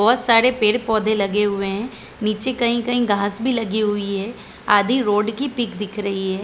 बहोत सारे पेड़-पौधे लगे हुए है नीचे कही-कही घाँस भी लगी हुई है आदि रोड की पिक दिख रही है।